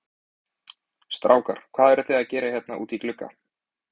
Strákar, hvað eruð þið að gera hérna úti í glugga?